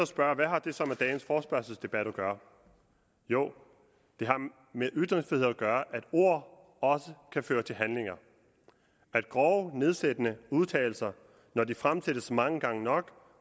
spørge hvad har det så med dagens forespørgselsdebat at gøre jo det har med ytringsfrihed at gøre at ord også kan føre til handlinger at grove nedsættende udtalelser når de fremsættes mange gange nok